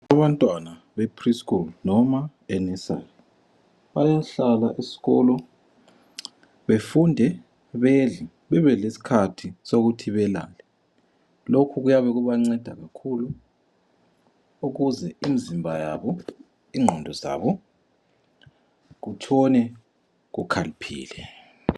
Abantwana bepreschool noma enursery bayahlala esikolo befunde, bedle bebelesikhathi sokuthi belalae. Lokhu kuyabe kubanceda kakhulu ukuze imizimba yabo, ingqondo zabo kutshone kukhaliphile.